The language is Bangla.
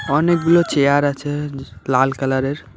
অনেকগুলো চেয়ার আছে লাল কালারের।